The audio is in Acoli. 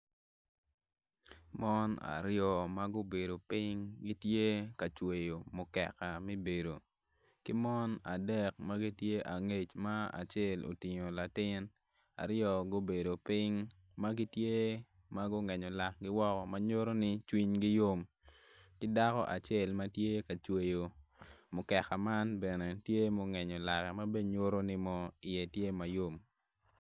Mon aryo ma gubedo piny gitye ka cweyo mukeka mi bedo ki mon adek ma gitye angec ma acel utingo latin aryo gubedo piny ma gitye ma gungenyo lakgi woko ma nyutoni cwinygi yom ki dako acel ma tye ka cweyo mukeka man bene tye mungenyo lakka ma bene nyutu ni iye tye ma yom